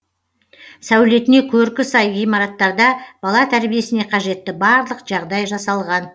сәулетіне көркі сай ғимараттарда бала тәрбиесіне қажетті барлық жағдай жасалған